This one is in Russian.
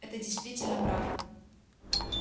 это действительно правда